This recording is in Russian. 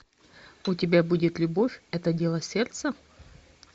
у тебя будет любовь это дело сердца